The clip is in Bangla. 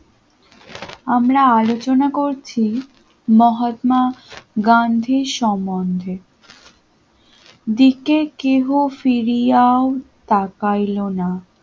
আমরা আলোচনা করছি মহাত্মা গান্ধীর সম্বন্ধে দিকে কেহ ফিরিয়া তাকাইলো না।